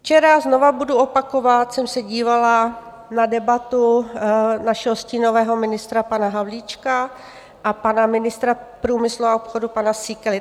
Včera, znovu budu opakovat, jsem se dívala na debatu našeho stínového ministra pana Havlíčka a pana ministra průmyslu a obchodu pana Síkely.